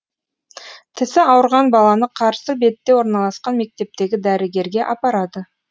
тісі ауырған баланы қарсы бетте орналасқан мектептегі дәрігерге апарады